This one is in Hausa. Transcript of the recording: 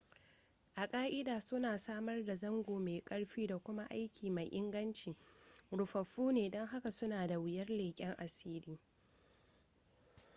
a ƙa'ida suna samar da zango mai ƙarfi da kuma aiki mai inganci rufaffu ne don haka suna da wuyar leƙen asiri